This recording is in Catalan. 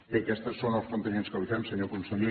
bé aquestes són els plantejaments que li fem senyor conseller